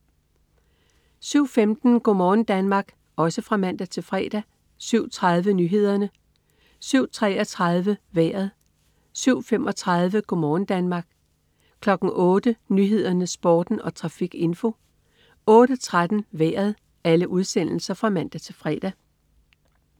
07.15 Go' morgen Danmark (man-fre) 07.30 Nyhederne (man-fre) 07.33 Vejret (man-fre) 07.35 Go' morgen Danmark (man-fre) 08.00 Nyhederne, Sporten og trafikinfo (man-fre) 08.13 Vejret (man-fre)